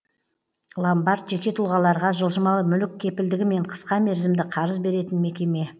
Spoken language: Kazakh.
ломбард жеке тұлғаларға жылжымалы мүлік кепілдігімен қысқа мерзімді қарыз беретін мекеме